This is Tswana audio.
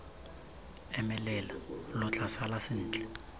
emelela lo tla sala sentle